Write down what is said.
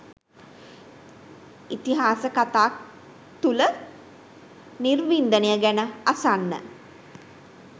ඉතිහාස කතා තුල නිර්වින්දනය ගැන අසන්න